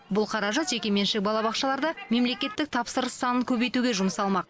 бұл қаражат жекеменшік балабақшаларда мемлекеттік тапсырыс санын көбейтуге жұмсалмақ